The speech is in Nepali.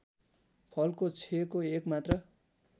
फलको क्षयको एकमात्र